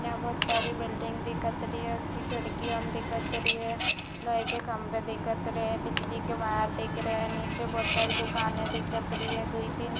यहाँ बहुत सारी बिल्डिंग दिखत रही है उसकी खिड़की अन दिखत रही है लोहे के खंभे दिखत रही है बिजली के वायर दिख रही है नीचे बहोत सारी दुकाने दिखत रही है दुइ तीन--